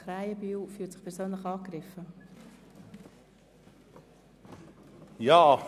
Krähenbühl fühlt sich persönlich angegriffen.